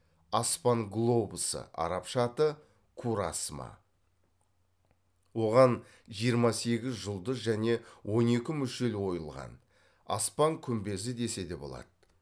аспан глобусы арабша аты курасма оған жиырма сегіз жұлдыз және он екі мүшел ойылған аспан күмбезі десе де болады